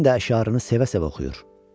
Sənin də əşarını sevə-sevə oxuyur.